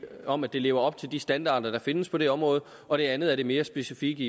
om at det lever op til de standarder der findes på det område og det andet er det mere specifikke